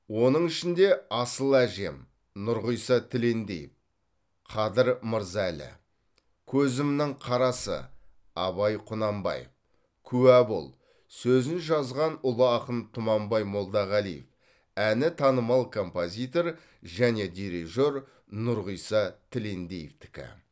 оның ішінде асыл әжем нұрғиса тілендиев қадір мырза әлі көзімнің қарасы абай құнанбаев куә бол сөзін жазған ұлы ақын тұманбай молдағалиев әні танымал композитор және дирижер нұрғиса тілендиевтікі